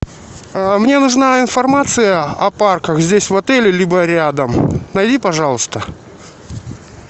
мне нужна информация о парках здесь в отеле либо рядом найди пожалуйста